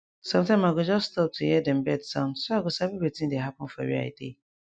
sometime i go just stop to hear dem bird sound so i go sabi wetin dey happen for for where i dey